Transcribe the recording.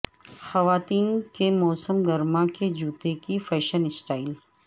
خواتین کے موسم گرما کے جوتے کی فیشن سٹائل